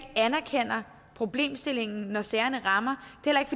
anerkender problemstillingen når sagerne rammer det